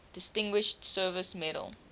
distinguished service medal